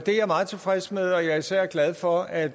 meget tilfreds med og jeg er især glad for at